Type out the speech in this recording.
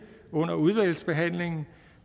under udvalgsbehandlingen